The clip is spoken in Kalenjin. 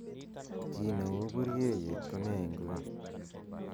gii neu buryeiyet ko nee inguni